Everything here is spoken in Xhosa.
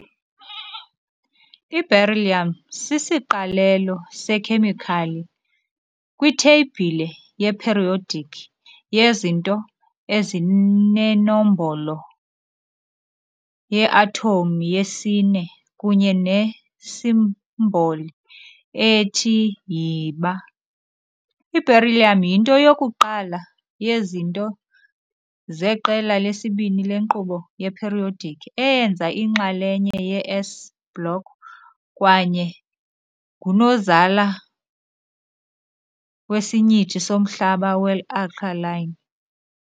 Iberyllium sisiqalelo sekhemikhali kwitheyibhile yeperiodic yezinto ezinenombolo yeathomu yesi- 4 kunye nesimboli ethi Yiba. I-Beryllium yinto yokuqala yezinto zeqela lesibini lenkqubo ye-periodic, eyenza inxalenye ye-"s" block, kwaye ngunozala wesinyithi somhlaba we-alkaline .